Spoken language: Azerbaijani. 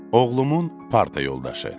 Oğlumun parta yoldaşı.